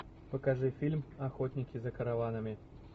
покажи фильм охотники за караванами